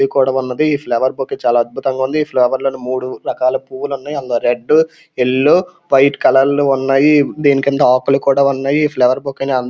ఇది కూడా ఉన్నదీ. ఈ ఫ్లవర్ బొకే చాలా అద్భుతంగా ఉంది. ఈ ఫ్లవర్ లో మూడు రకాల పువ్వులు ఉన్నాయి అందులో రెడ్ యెల్లో వైట్ కలర్ లో ఉన్నాయి. దీని కింద ఆకులు కూడా ఉన్నాయి. ఈ ఫ్లవర్ బొకే ని అం--